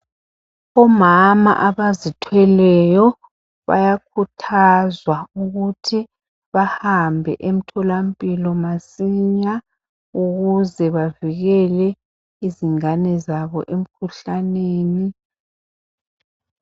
Omama abazithweleyo bayakhuthazwa ukuthi bahambe emtholampilo masinya.. Ukuze bavikele izingane zabo emkhuhlaneni.